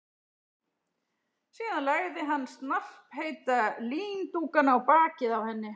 Síðan lagði hann snarpheita líndúkana á bakið á henni.